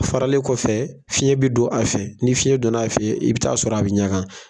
A faralen kɔfɛ fiɲɛ bɛ don a fɛ ni fiɲɛ don n'a fɛ i bɛ taa sɔrɔ a bɛ ɲaga.